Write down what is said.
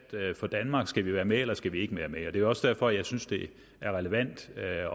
for danmark skal vi være med eller skal vi ikke være med det er også derfor jeg synes det er relevant at